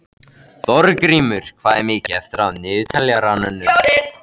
Þorgrímur, hvað er mikið eftir af niðurteljaranum?